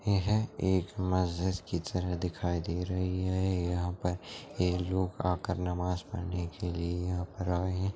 यह एक मस्जिद की तरह दिखाई दे रही है यहाँ पर ये लोग आकर नमाज़ पढ़ने के लिए यहाँ पर आए है।